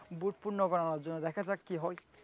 booth পুর্ণ বানানোর জন্য দেখা যাক কি হয়,